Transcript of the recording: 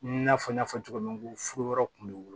I n'a fɔ n y'a fɔ cogo min ko furuyɔrɔ kun bɛ woyo